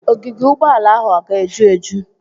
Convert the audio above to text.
Ogige Ụgbọala ahụ ọga eju eju?